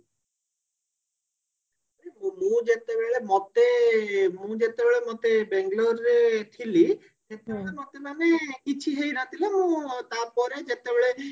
ମୁଁ ଯେତେବେଳେ ମତେ ମୁଁ ଯେତେବେଳ ମତେ ବାଙ୍ଗେଲୋର ରେ ଥିଲି ସେତେବେଳେ ମତେ ମାନେ କିଛି ହେଇ ନଥିଲା ମୁଁ ତାପରେ ଯେତେବେଳେ